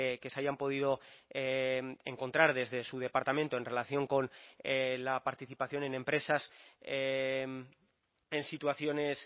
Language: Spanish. que se hayan podido encontrar desde su departamento en relación con la participación en empresas en situaciones